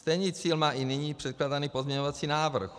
Stejný cíl má i nyní předkládaný pozměňovací návrh.